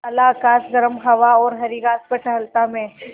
काला आकाश गर्म हवा और हरी घास पर टहलता मैं